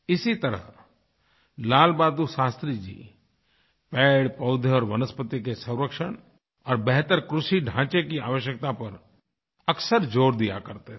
इसी तरह लालबहादुर शास्त्री जी पेड़ पौधे और वनस्पति के संरक्षण और बेहतर कृषिढांचे की आवश्यकता पर अक्सर ज़ोर दिया करते थे